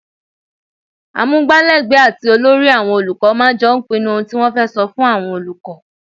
Amugbalegbe àti olórí àwọn olùkọ́ máa ń jọ́ pinnu ohun tí wọ́n fẹ́ sọ fún àwọn olùkọ́.